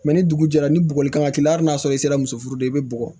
ni dugu jɛra ni bugɔli kama k'i la hali n'a sɔrɔ i sera muso furu de i bɛ bɔgɔ